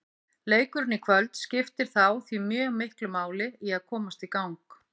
Leikurinn í kvöld skiptir þá því mjög miklu máli til að komast í gang.